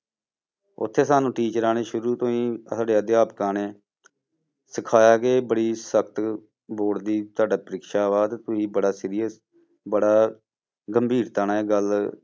ਉੱਥੇ ਸਾਨੂੰ ਟੀਚਰਾਂ ਨੇ ਸ਼ੁਰੂ ਤੋਂ ਹੀ ਸਾਡੇ ਅਧਿਆਪਕਾਂ ਨੇ ਸਿਖਾਇਆ ਕਿ ਬੜੀ ਸਖ਼ਤ board ਦੀ ਤੁਹਾਡਾ ਪਰਿਖਿਆ ਵਾ ਤੇ ਤੁਸੀਂ ਬੜਾ serious ਬੜਾ ਗੰਭੀਰਤਾ ਨਾਲ ਇਹ ਗੱਲ,